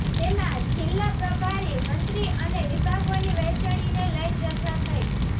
તેમાં જિલ્લા પ્રભારી મંત્રી અને વિભાગોની વહેચણીને લઈ ચર્ચા થઈ